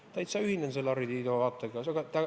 Ma täiesti ühinen selle Harri Tiido vaatega.